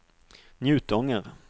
Njutånger